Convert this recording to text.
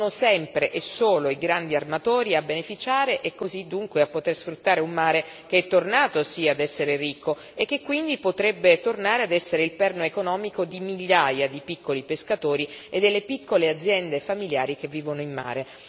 Sono sempre e solo i grandi armatori a beneficiare e così, dunque, a poter sfruttare un mare che è tornato sì ad essere ricco e che quindi potrebbe tornare ad essere il perno economico di migliaia di piccoli pescatori e delle piccole aziende familiari che vivono in mare.